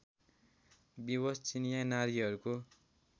विवश चिनियाँ नारीहरूको